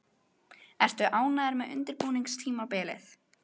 Ertu ánægður með undirbúningstímabilið?